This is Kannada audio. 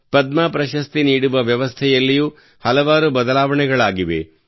ಪದ್ಮ ಪ್ರಶಸ್ತಿ ನೀಡುವ ವ್ಯವಸ್ಥೆಯಲ್ಲಿಯೂ ಹಲವಾರು ಬದಲಾವಣೆಗಳಾಗಿವೆ